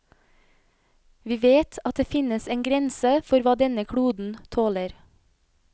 Vi vet at det finnes en grense for hva denne kloden tåler.